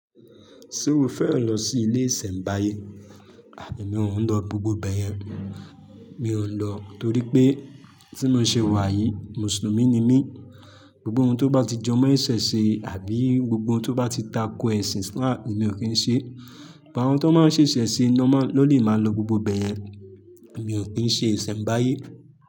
Ṣé o fẹ́ lọ sí ilé ìsẹ́mbáyé? Emì mí òun lọ gbogbo bẹyẹn. Mi òun lọ torí pé tí mo ṣe wà yìí, Mùsùlùmí ni mí. Gbogbo ohun tó bá ti jọ mọ́ ẹ̀sìn ṣe àbí gbogbo ohun tó bá ti takọ ẹ̀sìn Islam, èmi ò kí ń ṣe. Ìbá wọn tó máa ń ṣe ẹ̀sìn ṣe iná mọ́ lódì máa lọ gbogbo báyẹn. Èmi ò kí ń ṣe ìsẹ́mbáyé.